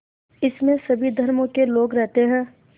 इसमें सभी धर्मों के लोग रहते हैं